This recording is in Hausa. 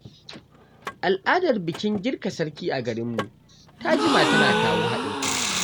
Al’adar bikin girka sarki a garinmu ta jima tana kawo haɗin kai.